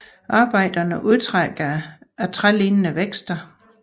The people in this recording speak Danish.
Arbejderne udtrækker det af trælignende vækster